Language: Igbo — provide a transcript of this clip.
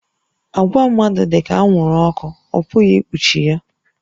Àgwà mmadụ dị ka anwụrụ ọkụ, a pụghị ikpuchi ya